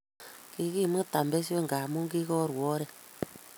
Kikimutan besho ngamun kikaruuu oret